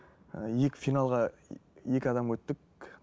ііі екі финалға екі адам өттік